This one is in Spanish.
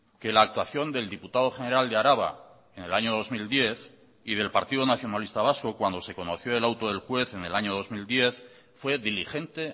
que la actuación del diputado general de araba en el año dos mil diez y del partido nacionalista vasco cuando se conoció el auto del juez en el año dos mil diez fue diligente